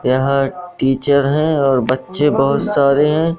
यहां टीचर है और बच्चे बहोत सारे हैं।